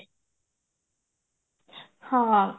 ହଁ